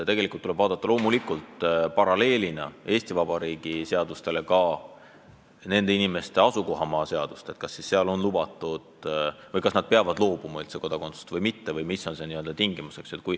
Tegelikult tuleb loomulikult paralleelselt Eesti Vabariigi seadustega arvestada ka nende inimeste asukohamaa seadusi – kas seal topeltkodakondsus on lubatud, kas nad peavad ühest kodakondsusest loobuma või mitte või millised on üldse tingimused.